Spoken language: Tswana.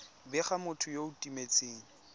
bega motho yo o timetseng